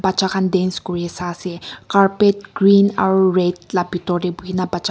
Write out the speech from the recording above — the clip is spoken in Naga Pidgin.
dance kuri sai ase carpet green aru red la bitor tey buhi na bacha--